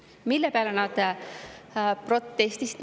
Mille peale nad protestisid.